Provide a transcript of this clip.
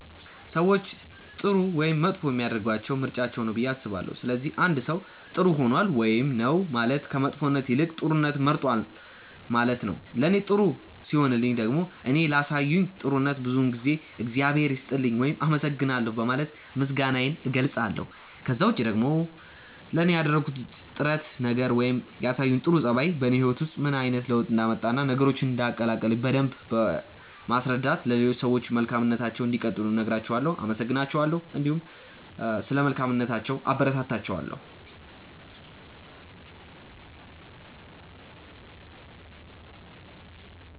ሰዎችን ጥሩ ወይም መጥፎ የሚያደርጋቸው ምርጫቸው ነው ብዬ አስባለሁ። ስለዚህ አንድ ሰው ጥር ሆኗል ውይም ነው ማለት ከመጥፎነት ይልቅ ጥሩነትን መርጧል ነው ማለት ነው። ለኔ ጥሩ ሲሆኑልኝ ደግሞ እኔ ላሳዩኝ ጥሩነት ብዙውን ጊዜ እግዚአብሔር ይስጥልኝ ውይም አመሰግናለሁ በማለት ምስጋናዬን እገልጻለሁ። ከዛ ውጪ ደግሞ ለኔ ያደረጉት ጥረት ነገር ወይም ያሳዩኝ ጥሩ ጸባይ በኔ ህይወት ውስጥ ምን አይነት ለውጥ እንዳመጣ እና ነገሮችን እንዳቀለለልኝ በደምብ በማስረዳት ለሌሎች ሰዎችም መልካምነታቸውን እንዲቀጥሉ እነግራቸዋለው፣ አመሰግናቸዋለሁ እንዲሁም ስለ መልካምነታቸው አበረታታቸዋለሁ።